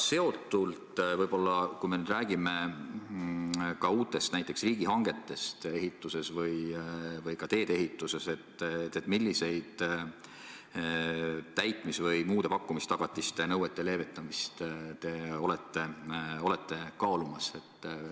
Sellega seotult, kui me räägime uutest riigihangetest ehituses või ka teedeehituses, siis milliseid täitmis- või muude pakkumistagatiste nõuete leevendamist te olete kaalumas?